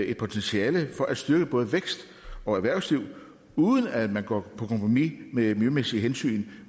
et potentiale for at styrke både vækst og erhvervsliv uden at man går på kompromis med miljømæssige hensyn